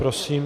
Prosím.